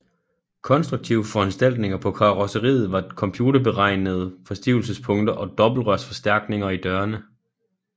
Konstruktive foranstaltninger på karrosseriet var computerberegnede forstivelsespunkter og dobbeltrørsforstærkninger i dørene